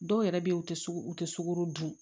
Dɔw yɛrɛ bɛ yen u tɛ u tɛ sukaro dun